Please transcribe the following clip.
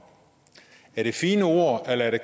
er det fine ord eller er det